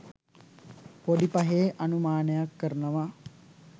පොඩි පහේ අනුමානයක් කරනවා